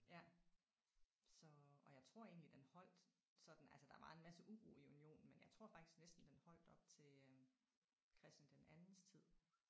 Ja så og jeg tror egentlig den holdt sådan altså der var en masse uro i unionen men jeg tror faktisk næsten den holdt op til øh Christian den andens tid